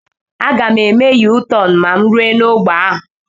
Aga m eme Yu-tọn ma mụ rue n'ogbe ahụ